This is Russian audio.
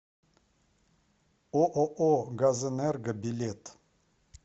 ооо газэнерго билет